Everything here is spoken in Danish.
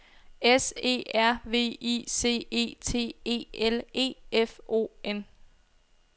S E R V I C E T E L E F O N